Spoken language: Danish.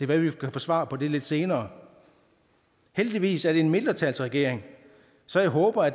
være at vi kan få svar på det lidt senere heldigvis er det en mindretalsregering så jeg håber at